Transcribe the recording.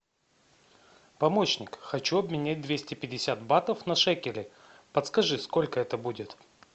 помощник хочу обменять двести пятьдесят батов на шекели подскажи сколько это будет